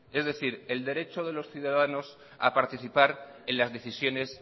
es decir el derecho de los ciudadanos a participar en las decisiones